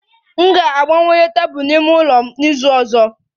M ga-agbanwe tebụl n'ime ụlọ m n'izu ọzọ